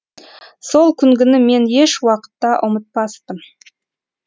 сол күнгіні мен еш уақытта ұмытпаспын